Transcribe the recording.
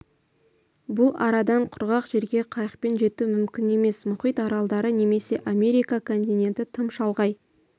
бұл арадан құрғақ жерге қайықпен жету мүмкін емес мұхит аралдары немесе америка континенті тым шалғай